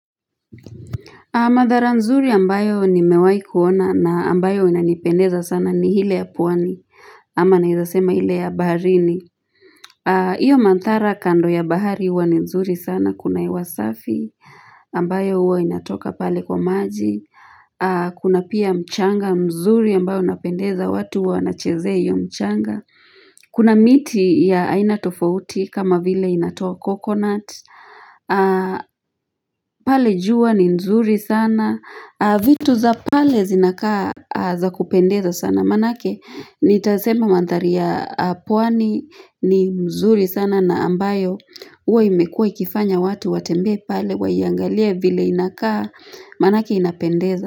Mandhari nzuri ambayo nimewai kuona na ambayo inanipendeza sana ni ile ya pwani, ama naweza sema ile ya baharini. Hiyo mandhari kando ya bahari huwa ni nzuri sana, kuna hewa safi, ambayo huwa inatoka pale kwa maji. Kuna pia mchanga mzuri ambayo inapendeza, watu huwa wanachezeh iyo mchanga. Kuna miti ya aina tofauti kama vile inayotoa coconut. Pale jua ni nzuri sana vitu za pale zinakaa za kupendeza sana manake nitasema mandhari ya pwani ni nzuri sana na ambayo huwa imekuwa ikifanya watu watembee pale waiangalie vile inakaa manake inapendeza.